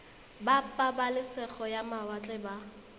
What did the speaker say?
ba pabalesego ya mawatle ba